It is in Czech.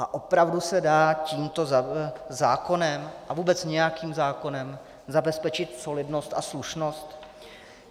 A opravdu se dá tímto zákonem a vůbec nějakým zákonem zabezpečit solidnost a slušnost?